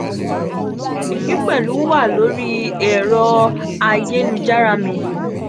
eyi pelu wa lori ero ayelujara mi.